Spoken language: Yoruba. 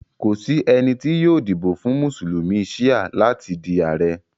Kò sí ènì tó yóò díbọ̀ fún Musulumi Shia látì dí Ààrẹ̀.